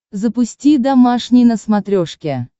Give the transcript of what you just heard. запусти домашний на смотрешке